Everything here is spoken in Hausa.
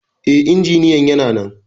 E, injiniyan yana nan.